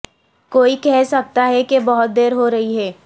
کوئی کہہ سکتا ہے کہ بہت دیر ہو رہی ہے